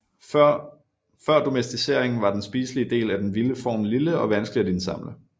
Før domesticering var den spiselige del af den vilde form lille og vanskelig at indsamle